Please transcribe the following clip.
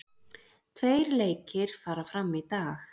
Tveir leikir fara fram í dag